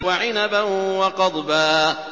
وَعِنَبًا وَقَضْبًا